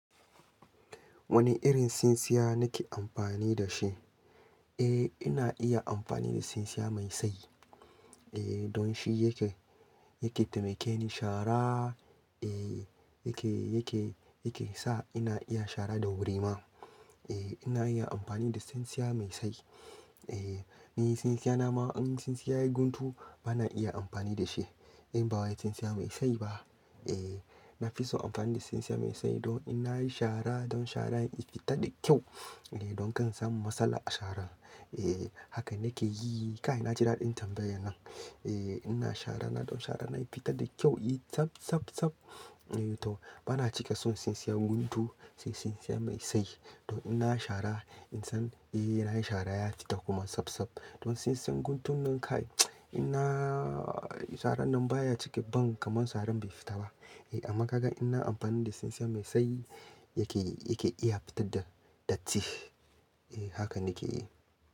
Wani irin tsintsiya nake amfani da shi? Eh ina iya amfani da tsintsiya mai sayi. Eh don shi yake, yake taimake ni shara, eh yake, yake, yake sa ina iya shara da wuri ma. Eh ina iya amfani da tsintsiya mai sayi Eh ni tsintsiya na ma in yi tsintsiya yai guntu ba na iya amfani da shi. In ba wai tsintsiya mai sayi ba. Eh na fi so amfani da tsintsiya mai sayi don ina yi shara don shara ya fita da kyau. Eh don kan samu matsala a shara. Eh haka nake yi. Kai naji daɗin tambayar nan. Eh ina shara na don shara na ya fita da kyau, yi tsab, tsab, tsab. Eh to ba na cika son tsintsiya guntu sai tsintsiya mai sayi. Don ina shara in san eh ina yi shara ya fita kuma sab, sab. Don tsintsan guntun nan kai ina sarar nan baya cike ban kamar saran bai fita ba. Eh amma ka gan ina amfani da tsintsiya mai sai yake, yake iya fita da, da datti. Eh haka nake yi.